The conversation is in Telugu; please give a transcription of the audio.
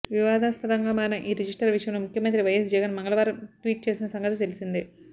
వివాదాస్పదంగా మారిన ఈ రిజిస్టర్ విషయంలో ముఖ్యమంత్రి వైఎస్ జగన్ మంగళవారం ట్వీట్ చేసిన సంగతి తెలిసిందే